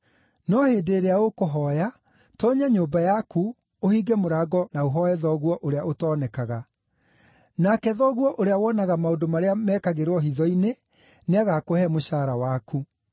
No hĩndĩ ĩrĩa ũkũhooya, toonya nyũmba yaku, ũhinge mũrango na ũhooye Thoguo ũrĩa ũtoonekaga. Nake Thoguo ũrĩa wonaga maũndũ marĩa mekagĩrwo hitho-inĩ, nĩagakũhe mũcaara waku.